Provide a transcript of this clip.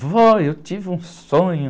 Vó, eu tive um sonho.